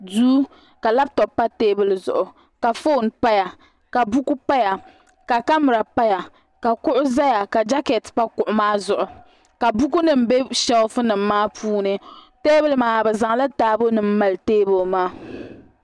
duu ka labtop pa teebuli zuɣu ka foon paya ka buku paya ka kamɛra paya ka kuɣu ʒɛya ka bilankɛt pa kuɣu maa zuɣu ka buku nim bɛ sheelf nim maa puuni teebuli maa bi zaŋla taabo nim mali teebuli maa